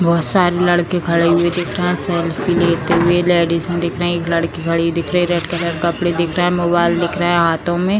बहुत सारे लड़के खड़े हुए दिख रहे हैं सेल्फी लेते हुए लेडिज दिख रही एक लड़की खड़ी दिख रही है रेड कलर का कपड़ा दिख रहा है मोबाइल दिख रहा है हाथों में |